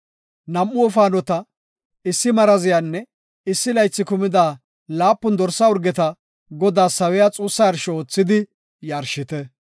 Nam7u wofaanota, issi maraziyanne issi laythi kumida laapun dorsa urgeta Godaas sawiya xuussa yarsho oothidi yarshite.